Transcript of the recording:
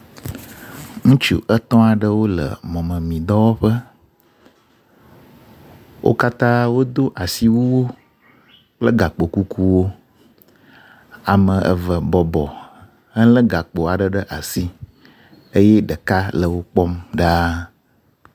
Ŋutsu etɔ̃ aɖeo le mɔmemidɔwɔƒe, wo katã wodo asiwuwo kple gakpo kukuwo. Ame eve bɔbɔ helé gakpo aɖe ɖe asi eye ɖeka le wo kpɔm ɖaa.